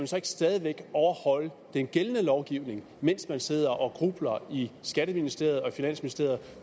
så ikke stadig væk overholde den gældende lovgivning mens man sidder og grubler i skatteministeriet og i finansministeriet